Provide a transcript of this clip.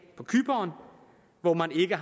på cypern hvor man ikke